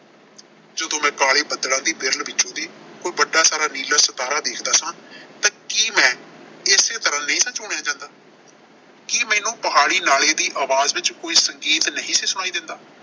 ਜਦੋਂ ਮੈਂ ਕਾਲੇ ਬੱਦਲਾਂ ਦੀ ਵਿਰਲ ਵਿੱਚ ਦੀ ਕੋਈ ਵੱਡਾ ਸਾਰਾ ਨੀਲਾ ਸਿਤਾਰਾ ਵੇਖਦਾ ਸਾਂ ਤਾਂ ਕੀ ਮੈਂ ਏਸੇ ਤਰ੍ਹਾਂ ਨਹੀਂ ਸਾਂ ਜਾਂਦਾ। ਕੀ ਮੈਨੂੰ ਪਹਾੜੀ ਨਾਲੀ ਦੀ ਆਵਾਜ਼ ਵਿੱਚ ਕੋਈ ਸੰਗੀਤ ਨਹੀਂ ਸੀ ਸੁਣਾਈ ਦਿੰਦਾ।